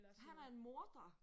Han er en morder!